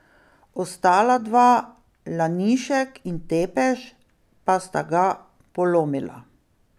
Ostala dva, Lanišek in Tepeš, pa sta ga polomila.